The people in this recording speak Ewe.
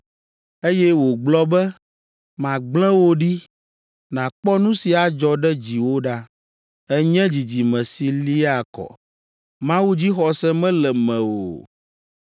Eye wògblɔ be, “Magblẽ wò ɖi nàkpɔ nu si adzɔ ɖe dziwò ɖa; ènye dzidzime si liaa kɔ Mawudzixɔse mele mewò o.